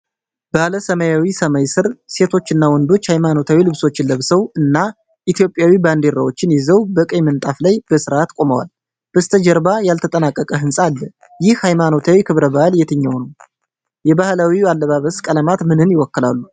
ባለ ሰማያዊ ሰማይ ስር፣ ሴቶች እና ወንዶች ሃይማኖታዊ ልብሶችን ለብሰው እና የኢትዮጵያ ባንዲራዎችን ይዘው በቀይ ምንጣፍ ላይ በሥርዓት ቆመዋል። በስተጀርባ ያልተጠናቀቀ ህንፃ አለ። ይህ ሃይማኖታዊ ክብረ በዓል የትኛው ነው? የባህላዊው አልባሳት ቀለማት ምንን ይወክላሉ?